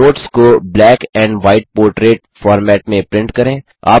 notes को black and white portrait format में print करें